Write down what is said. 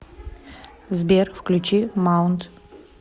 сбер включи маунт